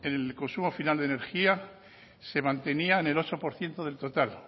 en el consumo final de energía se mantenía en el ocho por ciento del total